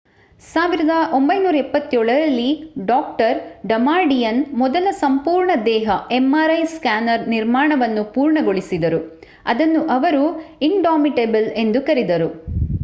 1977 ರಲ್ಲಿ ಡಾ ಡಮಾಡಿಯನ್ ಮೊದಲ ಸಂಪೂರ್ಣ-ದೇಹ mri ಸ್ಕ್ಯಾನರ್ ನಿರ್ಮಾಣವನ್ನು ಪೂರ್ಣಗೊಳಿಸಿದರು ಅದನ್ನು ಅವರು indomitable ಎಂದು ಕರೆದರು